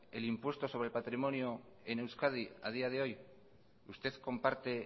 el impuesto sobre el patrimonio en euskadi a día de hoy usted comparte